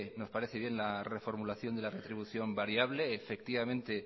nos parece bien la reformulación de la retribución variable